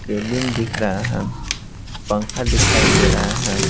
Cabin दिख रहा है पंखा दिखाई दे रहा है।